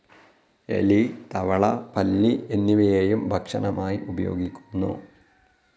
എലി, തവള, പല്ലി എന്നിവയെയും ഭക്ഷണമായി ഉപയോഗിക്കുന്നു.